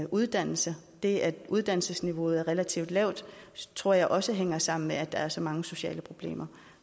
uddannelse det at uddannelsesniveauet er relativt lavt tror jeg også hænger sammen med at der er så mange sociale problemer